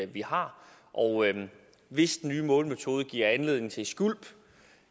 vi har og hvis den nye målemetode giver anledning til skvulp